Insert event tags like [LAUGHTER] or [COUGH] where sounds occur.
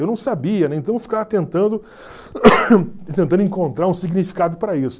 Eu não sabia, né, então eu ficava tentando [COUGHS] tentando encontrar um significado para isso.